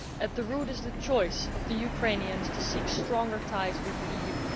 At their root is the choice of the Ukrainians to seek stronger ties with the EU.